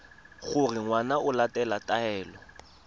gore ngwana o latela taelo